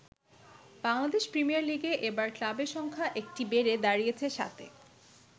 Bangladesh premier লীগে এবার ক্লাবের সংখ্যা একটি বেড়ে দাঁড়িয়েছে সাতে।